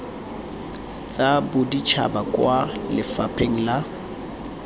tsa boditšhaba kwa lefapheng la